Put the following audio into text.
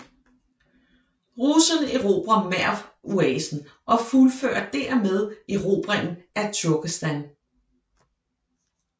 Russerne erobrer Merv oasen og fuldfører dermed erobringen af Turkestan